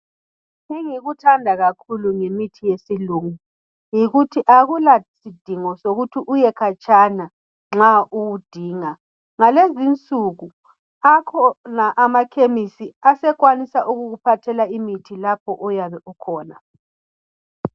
Engikuthanda kakhulu ngemithi yesilungu yikuthi akula sidingo sokuthi uye khatshana nxa siwudinga ngalezi insuku akhona amakhemesi akuphathela imithi lapho oyabe ikhona.